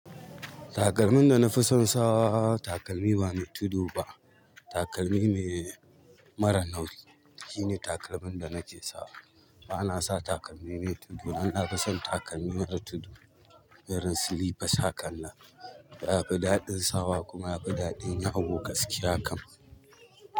Takalmin da na fi son sawa takalmi ba mai tudu ba, takalmi ne mara nauyi. Shine takalmin da nake sawa. Bana sa takalmi me tudu. Dan nafi son takalmi mara tudu, irin silifas hakan nan, yafii daɗin sawa kuma yafi daɗin yawo gaskiya kam.